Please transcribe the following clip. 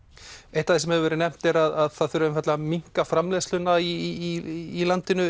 eitt af því sem hefur verið nefnt er að það þurfi einfaldlega að minnka framleiðsluna í landinu